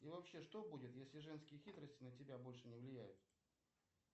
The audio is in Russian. и вообще что будет если женские хитрости на тебя больше не влияют